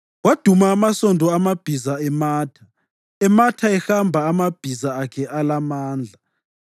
Kwaduma amasondo amabhiza ematha, ematha ehamba amabhiza akhe alamandla.